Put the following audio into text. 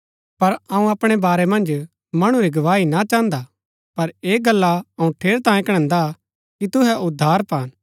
पर अऊँ अपणै बारै मन्ज मणु री गवाही ना चाहन्दा पर ऐह गल्ला अऊँ ठेरैतांये कणैन्दा कि तुहै उद्धार पान